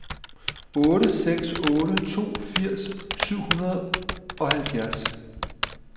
otte seks otte to firs syv hundrede og halvfjerds